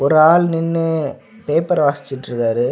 ஒரு ஆள் நின்னு பேப்பர் வாசிச்சிட்டு இருக்காரு.